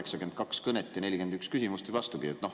– pidada 82 kõnet ja esitada 41 küsimust või vastupidi.